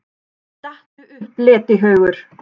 STATTU UPP, LETIHAUGUR!